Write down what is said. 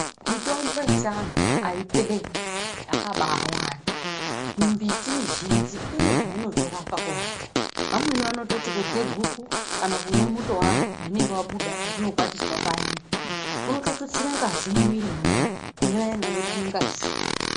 Mitombo yechiyungu aiperi yakabaawanda. Mumbiti mizhinji inezvainotorapa kuvantu. Vamweni vanoti kurye guku kana kumwe muto waro warinenge rabuda parinokwatiswa payani kunototutsire ngazi mumwiri memuntu kune vayani vanotame ngazi.